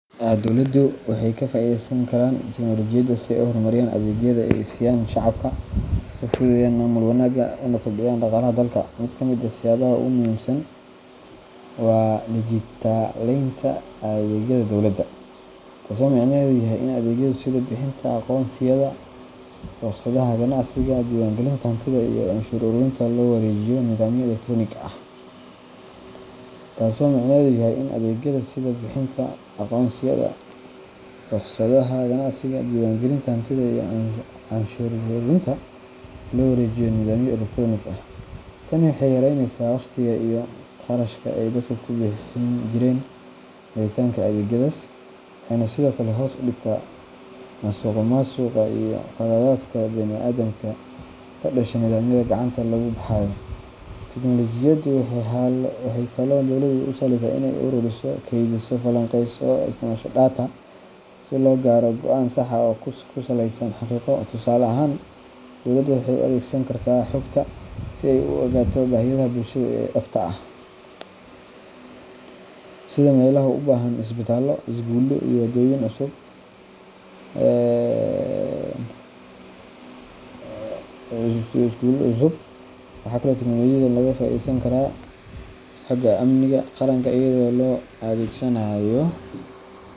Dowladuhu waxay ka faa’iideysan karaan tiknolojiyadda si ay u horumariyaan adeegyada ay siiyaan shacabka, u fududeeyaan maamul wanaagga, una kobciyaan dhaqaalaha dalka. Mid ka mid ah siyaabaha ugu muhiimsan waa dijitaleynta adeegyada dowladda, taasoo micnaheedu yahay in adeegyada sida bixinta aqoonsiyada, rukhsadaha ganacsiga, diiwaangelinta hantida, iyo canshuur ururinta loo wareejiyo nidaamyo elektaroonik ah. Tani waxay yareyneysaa waqtiga iyo kharashka ay dadku ku bixin jireen helitaanka adeegyadaas, waxayna sidoo kale hoos u dhigtaa musuqmaasuqa iyo khaladaadka bani’aadamka ee ka dhasha nidaamyada gacanta lagu hayo. Tiknolojiyaddu waxay kaloo dowladda u sahlaysaa in ay ururiso, kaydiso, falanqeyso, oo ay isticmaasho xog data si loo gaaro go’aanno sax ah oo ku saleysan xaqiiqo. Tusaale ahaan, dowladda waxay u adeegsan kartaa xogta si ay u ogaato baahiyaha bulshada ee dhabta ah, sida meelaha u baahan isbitaallo, iskuullo, ama waddooyin cusub. Waxa kale oo tiknolojiyadda laga faa’iideysan karaa xagga amniga qaranka, iyadoo loo adeegsanayo.